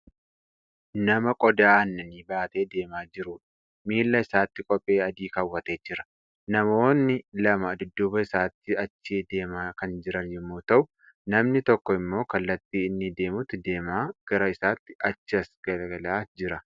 Nama qodaa aannanii baatee deemaa jirudha. Miillaa isaatti kophee adii kaawwatee jira. Namoonni lama dudduuba isaatti achi deema kan jiran yommuu ta'u, namni tokko immoo kallattii inni deemutti deemaa gara isaatti achas laalaa jira.